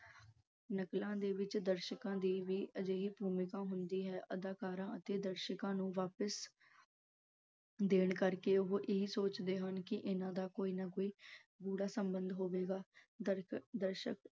ਨਕਲਾਂ ਦੇ ਵਿੱਚ ਦਰਸ਼ਕਾਂ ਦੀ ਵੀ ਅਜਿਹੀ ਭੂਮਿਕਾ ਹੁੰਦੀ ਹੈ ਅਦਾਕਾਰਾਂ ਅਤੇ ਦਰਸ਼ਕਾਂ ਨੂੰ ਵਾਪਿਸ ਦੇਣ ਕਰਕੇ ਉਹ ਇਹੀ ਸੋਚਦੇ ਹਨ ਕਿ ਇਹਨਾਂ ਦਾ ਕੋਈ ਨਾ ਕੋਈ ਬੁਰਾ ਸੰਬੰਧ ਹੋਵੇਗਾ। ਗਲਤ ਦਰਸ਼ਕ